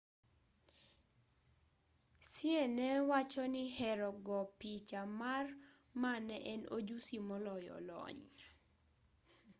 hsieh ne wachoni hero go picha mar ma ne en ojusi moloyo lony